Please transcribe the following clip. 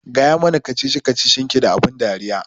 Gaya mana kacici kacicin ki da abun ban dariya